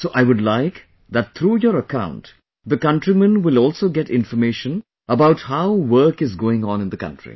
So I would like that through your account the countrymen will also get information about how work is going on in the country